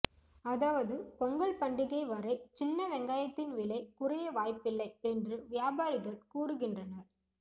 அதாவது பொங்கல் பண்டிகை வரை சின்ன வெங்காயத்தின் விலை குறைய வாய்ப்பில்லை என்று வியாபாரிகள் கூறுகின்றனர்